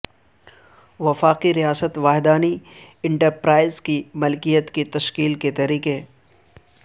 وفاقی ریاست وحدانی انٹرپرائز کی ملکیت کی تشکیل کے طریقے